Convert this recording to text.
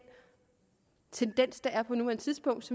tendens der er på nuværende tidspunkt